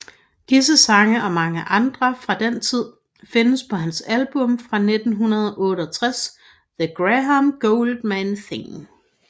Disse sange og mange andre fra den tid findes på hans album fra 1968 The Graham Gouldman Thing